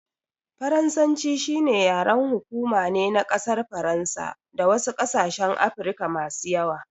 Faransanci shine yaren hukuma ne na ƙasar faransa da wasu ƙasashen Afirka masu yawa.